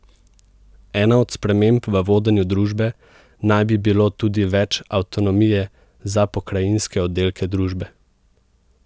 Ena od sprememb v vodenju družbe naj bi bilo tudi več avtonomije za pokrajinske oddelke družbe.